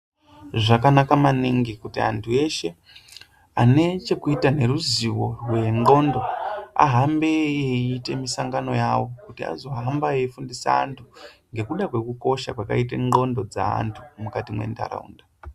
Zvakanaka maningi kuti antu eshe ane chekuita neruziyo rwedhlondo ahambe eyiite misangano yavo kuti azohamba eifundisa antu mgekuda kwekukosha kwakaite dhlondo dzevantu mukati mwenharaunda.